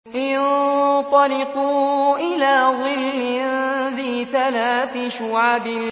انطَلِقُوا إِلَىٰ ظِلٍّ ذِي ثَلَاثِ شُعَبٍ